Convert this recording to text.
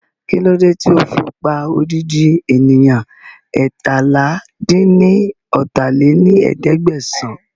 Kílódé tí ó fi pa odidi ènìyàn eétalá-dín-ní-ọ́ta lé ní ẹ̀ẹ́dẹ́gbẹ́sán